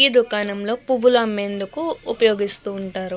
ఈ దుకాణంలో పువ్వులు అమ్మేందుకు ఉపయోగిస్తూ ఉంటారు.